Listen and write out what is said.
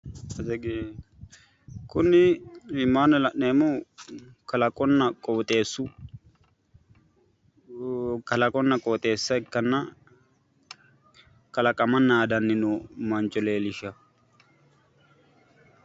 Kuni iimaanni la'neemmohu kalaqunna qooxeessu, kalaqonna qooxeessa ikkanna kalaqama naadanni nooha leellisha.